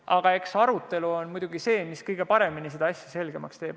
Aga eks muidugi arutelu on see, mis kõige paremini asja selgemaks teeb.